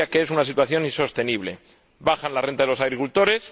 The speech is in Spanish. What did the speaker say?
yo diría que es una situación insostenible bajan las rentas de los agricultores